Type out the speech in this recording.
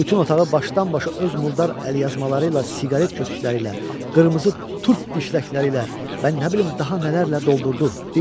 Bütün otağı başdan-başa öz murdar əlyazmaları ilə, siqaret kötüklləri ilə, qırmızı turp dişləkləri ilə, mən nə bilim, daha nələrlə doldurdu, dinmədim.